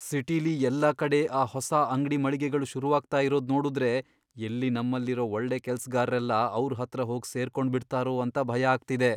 ಸಿಟಿಲಿ ಎಲ್ಲಾ ಕಡೆ ಆ ಹೊಸ ಅಂಗ್ಡಿ ಮಳಿಗೆಗಳು ಶುರುವಾಗ್ತಾ ಇರೋದ್ ನೋಡುದ್ರೆ ಎಲ್ಲಿ ನಮ್ಮಲ್ಲಿರೋ ಒಳ್ಳೆ ಕೆಲ್ಸ್ಗಾರ್ರೆಲ್ಲ ಅವ್ರ್ ಹತ್ರ ಹೋಗ್ ಸೇರ್ಕೊಂಡ್ಬಿಡ್ತಾರೋ ಅಂತ ಭಯ ಆಗ್ತಿದೆ.